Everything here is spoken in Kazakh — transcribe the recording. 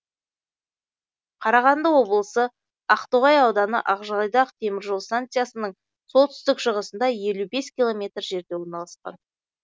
қарағанды облысы ақтоғай ауданы ақжайдақ темір жол станциясының солтүстік шығысында елу бес километр жерде орналасқан